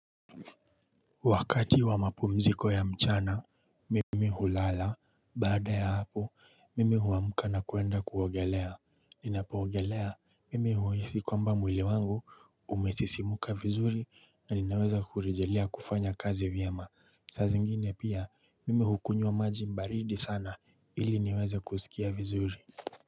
Wakati wa mapumziko ya mchana mimi hulala baada ya hapo mimi huamka na kuenda kuogelea. Ninapoogelea mimi huisi kwamba mwili wangu umesisimuka vizuri na ninaweza kurejelea kufanya kazi vyema. Saa zingine pia mimi hukunywa maji baridi sana ili niweze kusikia vizuri.